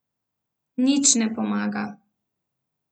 Nič ne pomaga.